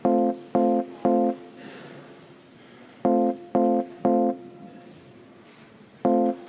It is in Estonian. Palun võtta seisukoht ja hääletada!